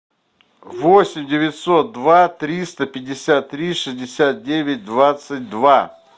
восемь девятьсот два триста пятьдесят три шестьдесят девять двадцать два